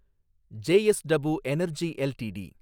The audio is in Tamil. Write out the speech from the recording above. JSW energy LTD